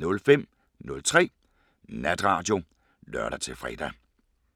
05:03: Natradio (lør-fre)